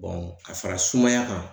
ka fara sumaya kan.